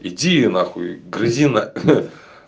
иди на хуй грызи на